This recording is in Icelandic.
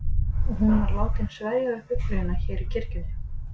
Og hún var látin sverja við Biblíuna hér í kirkjunni.